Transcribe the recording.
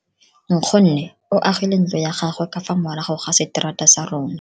Nkgonne o agile ntlo ya gagwe ka fa morago ga seterata sa rona.